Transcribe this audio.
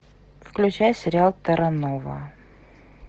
включай сериал терра нова